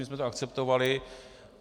My jsme to akceptovali.